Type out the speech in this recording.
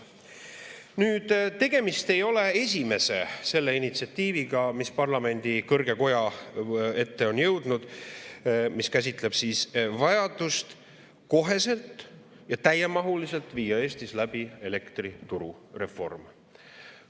Nüüd, tegemist ei ole esimese sellise parlamendi kõrge koja ette jõudnud initsiatiiviga, mis käsitleb vajadust kohe ja täiemahuliselt viia Eestis läbi elektriturureform.